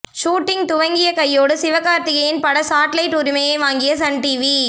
shooting துவங்கிய கையோடு சிவகார்த்திகேயன் பட சாட்டிலைட் உரிமையை வாங்கிய சன்டிவி